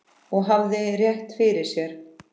Og hafði rétt fyrir sér.